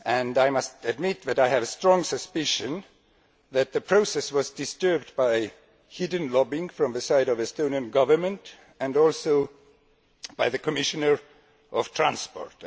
I must admit that I have a strong suspicion that the process was disturbed by hidden lobbying on the part of the Estonian Government and also by the Commissioner for Transport.